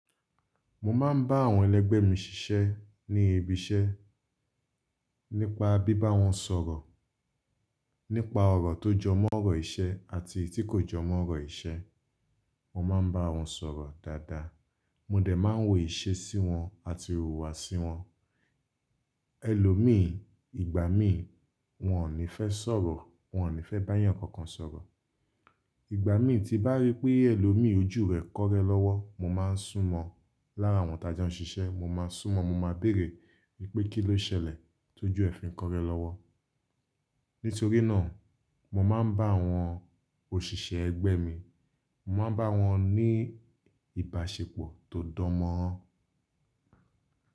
Mo máa ń bá àwọn ẹlẹ́gbẹ́ mi ṣiṣẹ́ ní ibiṣẹ́. Nípa bí bá wọn sọ̀rọ̀, nípa ọ̀rọ̀ tó jọ mọ́ ọ̀rọ̀ ìṣe àti tí kò jọ mọ́ ọ̀rọ̀ ìṣe. Mo máa ń bá wọn sọ̀rọ̀ dáadáa, mo dẹ̀ máa ń wò ìṣe sí wọn àti ìhùwàsí wọn. Ẹlòmíì, ìgbàmíì wọn ò ní fẹ́ sọ̀rọ̀, wọn ò ní fẹ́ bá ẹ̀yàn kankan sọ̀rọ̀. Ìgbàmíì tí bá ríi pé ẹlòmíì ojú rẹ̀ kọ́rẹ́ lọ́wọ́, mo máa ń sún mọ́ lára àwọn tajo ń ṣiṣẹ́, mo máa sún mọ́, mo máa béèrè wípé kí ló ṣẹlẹ̀ tó ju ẹfin kọ́rẹ́ lọ́wọ́. Nítorí náà, mo máa ń bá àwọn òṣìṣẹ́ ẹgbẹ́ mi, mo máa ń bá wọn ní ìbáṣepọ̀ tó danmọron.